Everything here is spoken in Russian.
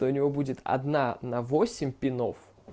то у него будет одна на восемь пинов